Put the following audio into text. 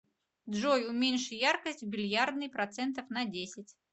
джой уменьши яркость в бильярдной процентов на десять